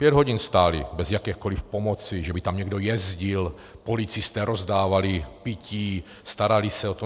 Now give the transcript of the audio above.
Pět hodin stáli bez jakékoliv pomoci, že by tam někdo jezdil, policisté rozdávali pití, starali se o to.